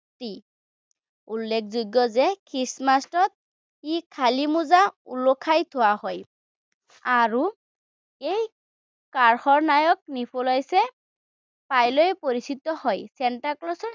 উল্লেখযোগ্য যে খ্ৰীষ্টমাচত কি খালি মোজা ওলমাই থোৱা হয়, আৰু এই কাৰণে নিকোলাচে পৰিচিত হয় চেন্তাক্লজ